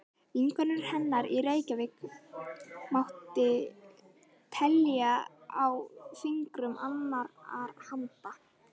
Vinkonur hennar í Reykjavík mátti telja á fingrum annarrar handar.